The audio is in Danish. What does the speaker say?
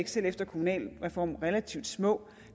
selv efter kommunalreformen stadig relativt små